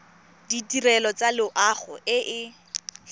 ditirelo tsa loago e e